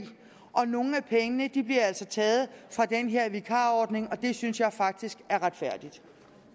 og nogle af pengene bliver altså taget fra den her vikarordning og det synes jeg faktisk er retfærdigt